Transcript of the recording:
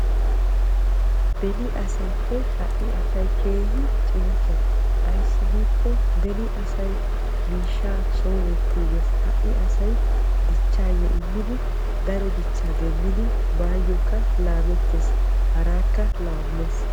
Beni asappe ha'i asay keehi cincca beni asay miishsha son wottiigees ha'i asay hara asawu immiddi dichchees bawukka laametees harakka laamees.